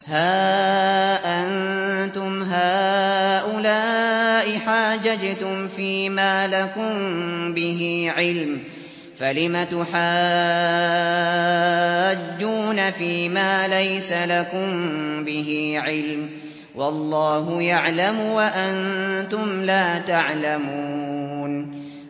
هَا أَنتُمْ هَٰؤُلَاءِ حَاجَجْتُمْ فِيمَا لَكُم بِهِ عِلْمٌ فَلِمَ تُحَاجُّونَ فِيمَا لَيْسَ لَكُم بِهِ عِلْمٌ ۚ وَاللَّهُ يَعْلَمُ وَأَنتُمْ لَا تَعْلَمُونَ